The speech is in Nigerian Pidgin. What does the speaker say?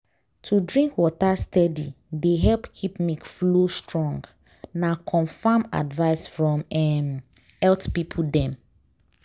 to drink water steady dey help keep milk flow strong. na confirmed advice from um health people dem.